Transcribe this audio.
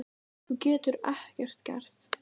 Þú getur ekkert gert.